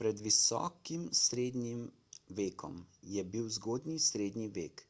pred visokim srednjim vekom je bil zgodnji srednji vek